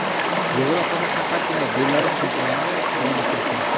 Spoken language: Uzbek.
Yevropada faqatgina Belarus chempionati davom etmoqda.